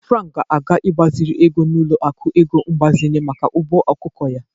Frank ga-aga igbaziri ego n'ọlụaku ego mgbazinye maka ugbo ọkụkọ ya.